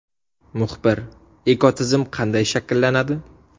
Muxbir: Ekotizim qanday shakllanadi?